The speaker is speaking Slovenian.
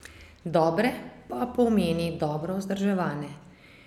Dobre pa pomeni dobro vzdrževane.